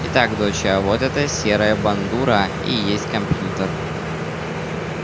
итак доча вот эта серая бандура и есть компьютер